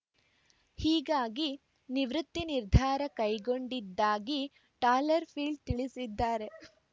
ಹೀಗಾಗಿ ನಿವೃತ್ತಿ ನಿರ್ಧಾರ ಕೈಗೊಂಡಿದ್ದಾಗಿ ಟಾಲರ್‌ಫೀಲ್ಡ್‌ ತಿಳಿಸಿದ್ದಾರೆ